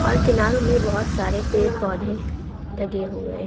और किनारो में बहुत सारे पेड़ पौधे लगे हुए हैं।